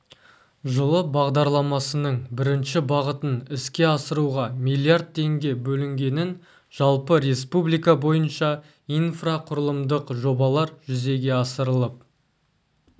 жылы бағдарламасының бірінші бағытын іске асыруға миллиард теңге бөлінгенін жалпы республика бойынша инфрақұрылымдық жобалар жүзеге асырылып